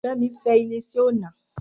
Femi fe ile ise ona.